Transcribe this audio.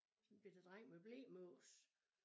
Sådan en bette dreng med blemås